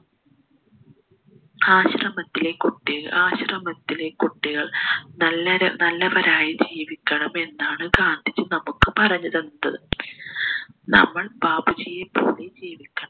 ആശ്രമത്തിലെ കുട്ടി ആശ്രമത്തിലെ കുട്ടികൾ നല്ലര നല്ലവരായി ജീവിക്കണം എന്നാണ് ഗാന്ധിജി നമ്മുക്ക് പറഞ്ഞു തന്നത് നമ്മൾ ബാപ്പുജിയെ പോലെ ജീവിക്കണം